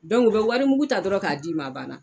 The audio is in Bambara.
u bɛ warimugu ta dɔrɔn k'a d'i ma a banna.